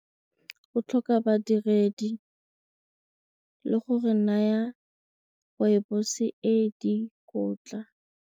O tlhoka badiredi le go re naya rooibos e dikotla.